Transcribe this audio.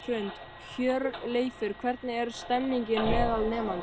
Hrund: Hjörleifur, hvernig er stemningin meðal nemenda?